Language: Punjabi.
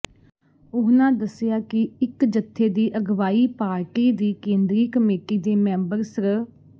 ਉਹਨਾਂ ਦੱਸਿਆ ਕਿ ਇੱਕ ਜੱਥੇ ਦੀ ਅਗਵਾਈ ਪਾਰਟੀ ਦੀ ਕੇਂਦਰੀ ਕਮੇਟੀ ਦੇ ਮੈਂਬਰ ਸ੍ਰ